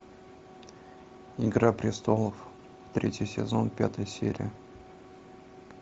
игра престолов третий сезон пятая серия